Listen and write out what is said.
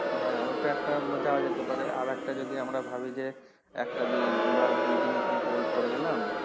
হ্যাঁ ওইটা একটা যাওয়া যেতে পারে আর একটা যদি আমরা ভাবি যে একটা দিন বা দুটা দিন ওখানে hold করে গেলাম